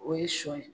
O ye sɔ ye